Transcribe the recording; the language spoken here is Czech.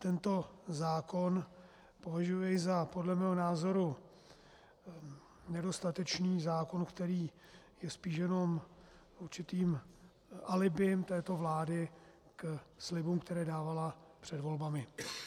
Tento zákon považuji za podle mého názoru nedostatečný zákon, který je spíš jenom určitým alibi této vlády ke slibům, které dávala před volbami.